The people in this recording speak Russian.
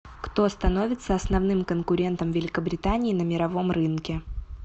кто становится основным конкурентом великобритании на мировом рынке